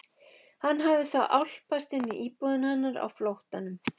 Hann hafði þá álpast inn í íbúðina hennar á flóttanum!